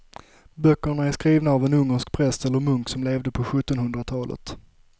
Böckerna är skrivna av en ungersk präst eller munk som levde på sjuttonhundratalet.